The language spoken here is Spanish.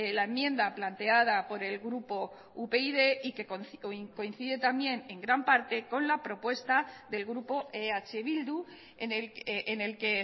la enmienda planteada por el grupo upyd y que coincide también en gran parte con la propuesta del grupo eh bildu en el que